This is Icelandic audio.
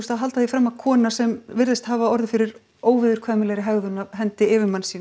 að halda því fram að kona sem virðist hafa orðið fyrir óviðurkvæmilegri hegðun af hendi yfirmanns síns